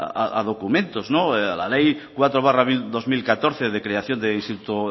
a documentos a la ley cuatro barra dos mil catorce de creación del instituto